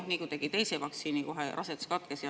Ja nii kui tegi teise vaktsiini, rasedus katkes.